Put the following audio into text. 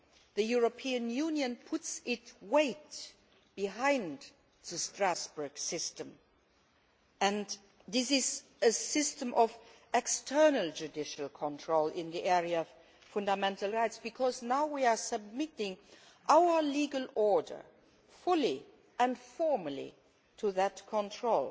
the European Union puts its weight behind the Strasbourg system, and this is a system of external judicial control in the area of fundamental rights because now we are submitting our legal order fully and formally to that control.